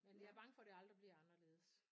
Men jeg bange for det aldrig bliver anderledes